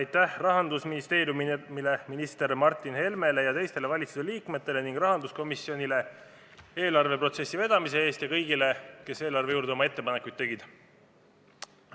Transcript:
Aitäh Rahandusministeeriumile, minister Martin Helmele ja teistele valitsuse liikmetele ning rahanduskomisjonile eelarveprotsessi vedamise eest ja kõigile, kes eelarve kohta oma ettepanekuid tegid!